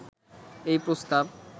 এই প্রস্তাব